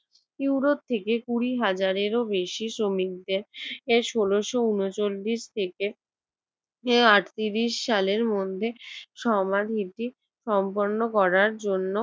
Europe থেকে কুড়ি হাজারেরও বেশি শ্রমিকদের আহ ষোলশ উনচল্লিশ থেকে আহ আটত্রিশ সালের মধ্যে সমাধিটি সম্পন্ন করার জন্য